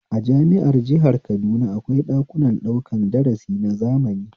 A jami'ar jihar kaduna akwai ɗakunan ɗaukan darasi na zamani